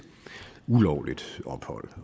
ulovligt ophold